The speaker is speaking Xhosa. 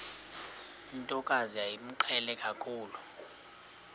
ntokazi yayimqhele kakhulu